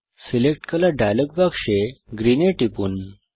select colour dialog বাক্সে green এ টিপুন